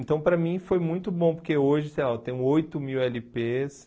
Então, para mim, foi muito bom, porque hoje, sei lá, eu tenho oito mil ele pês.